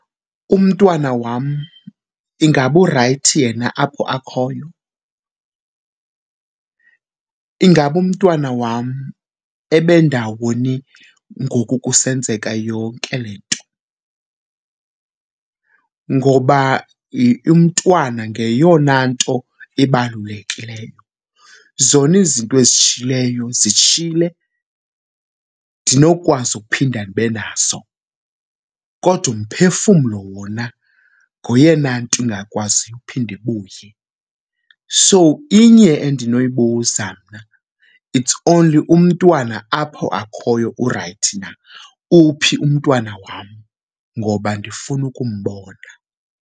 Umntwana wam ingaba urayithi yena apho akhoyo? Ingaba umntwana wam ebendawoni ngoku kusenzeka yonke le nto ngoba umntwana ngeyona nto ibalulekileyo? Zona izinto ezishitshilyo zitshile, ndinokwazi ukuphinda ndibe nazo kodwa umphefumlo wona ngoyena nto ingakwaziyo uphinde ibuye. So inye endinoyibuza mna, its only umntwana apho akhoyo urayithi na. Uphi umntwana wam ngoba ndifuna ukumbona?